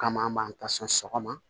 Kama an b'an ta sɔn sɔgɔma